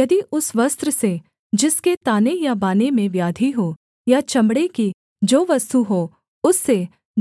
यदि उस वस्त्र से जिसके ताने या बाने में व्याधि हो या चमड़े की जो वस्तु हो उससे